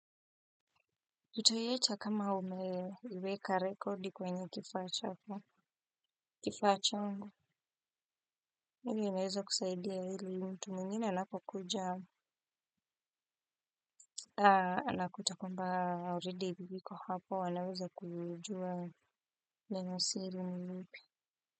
Utaiacha kama umeweka rekodi kwenye kifaa chako kifaa changu ili niweze kusaidia yule mtu mwingine anapokuja unakuta kwamba aalread viko hapo anaweza kujua. Neno siri ni ipi.